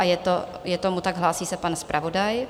A je tomu tak, hlásí se pan zpravodaj.